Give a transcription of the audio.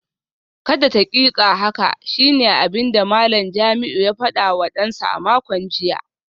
Kada taƙiƙa haka shine abinda Malam Jamiu ya fadawa dansa a makon jiya